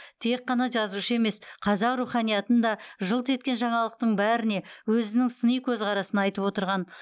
тек қана жазушы емес қазақ руханиятын да жылт еткен жаңалықтың бәріне өзінің сыни көзқарасын айтып отырған